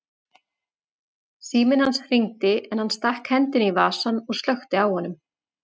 Síminn hans hringdi en hann stakk hendinni í vasann og slökkti á honum.